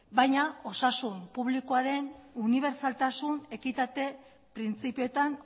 baina osasun publikoaren unibertsaltasun ekitate printzipioetan